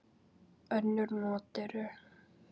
Önnur not eru